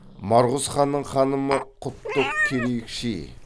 марғұз ханның ханымы құттық керейікши